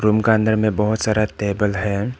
Room का अंदर में बहुत सारा टेबल है।